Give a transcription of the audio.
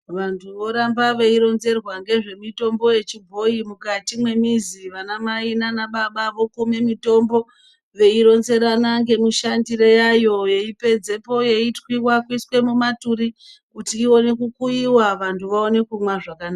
Vantu voramba veironzerwa ngezvemitombo yechibhoyi, mukati mwemizi vana mai nanababa vokume mitombo veironzerana ngemishandire yayo yeipedzapo yeitwiwa kuiswe mumaturi kuti ione kukuyiwa vanhu vaone kumwa zvakanaka.